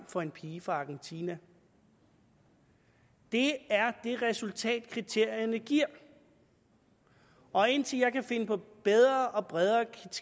for en pige fra argentina det er det resultat kriterierne giver og indtil jeg kan finde på bedre og bredere